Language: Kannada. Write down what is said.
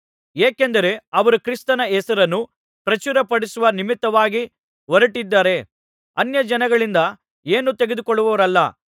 ಏಕೆಂದರೆ ಅವರು ಕ್ರಿಸ್ತನ ಹೆಸರನ್ನು ಪ್ರಚುರಪಡಿಸುವ ನಿಮಿತ್ತವಾಗಿ ಹೊರಟಿದ್ದಾರೆ ಅನ್ಯಜನಗಳಿಂದ ಏನೂ ತೆಗೆದುಕೊಳ್ಳುವವರಲ್ಲ